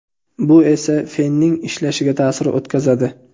Bu esa fenning ishlashiga ta’sir o‘tkazadi.